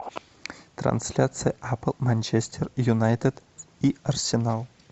трансляция апл манчестер юнайтед и арсенал